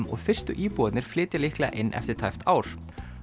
og fyrstu íbúarnir flytja líklega inn eftir tæpt ár